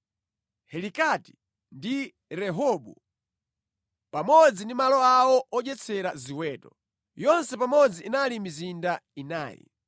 Helikati ndi Rehobu pamodzi ndi malo awo odyetsera ziweto. Yonse pamodzi inali mizinda inayi.